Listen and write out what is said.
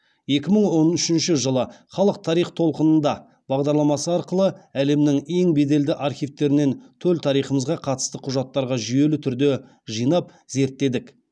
екі мың он үшінші жылы халық тарих толқынында бағдарламасы арқылы әлемнің ең белді архивтерінен төл тарихымызға қатысты құжаттарға жүйелі түрде жинап зерттедік